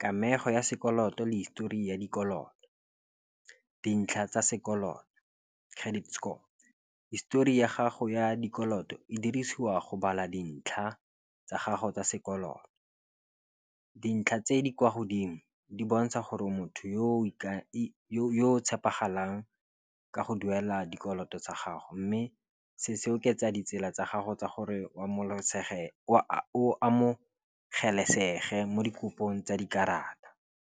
Kamego ya sekoloto le history ya dikoloto, dintlha tsa sekoloto, credit score, histori ya gago ya dikoloto e dirisiwa go bala dintlha tsa gago tsa sekoloto. Dintlha tse di kwa godimo di bontsha gore motho yo o tshepegalang ka go duela dikoloto tsa gago. Mme se se oketsa ditsela tsa gago tsa gore wa o amogelesegile mo dikopong tsa dikarata.